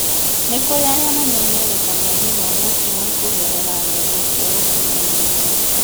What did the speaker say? nĩ kũrĩ aria mamemerekagia gĩthomo kĩao kũgerera nenda cia ũkinyanĩria